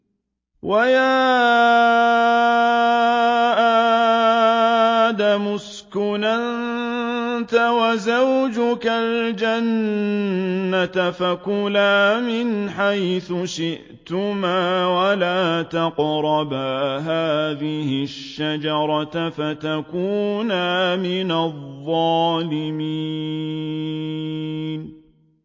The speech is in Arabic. وَيَا آدَمُ اسْكُنْ أَنتَ وَزَوْجُكَ الْجَنَّةَ فَكُلَا مِنْ حَيْثُ شِئْتُمَا وَلَا تَقْرَبَا هَٰذِهِ الشَّجَرَةَ فَتَكُونَا مِنَ الظَّالِمِينَ